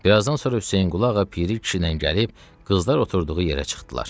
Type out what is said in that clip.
Birazdan sonra Hüseynqulu ağa Piri kişi ilə gəlib qızlar oturduğu yerə çıxdılar.